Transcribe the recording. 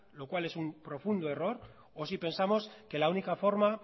lo cual es un profundo error o si pensamos que la única forma